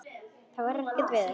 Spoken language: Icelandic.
Það er ekkert veður.